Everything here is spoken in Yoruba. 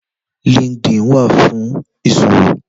Lìnkídìn wá fún iṣówó